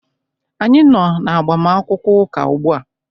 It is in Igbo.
Anyị nọ n'agbamakwụkwọ ụka ugbu a.